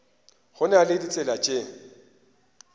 go na le ditsela tše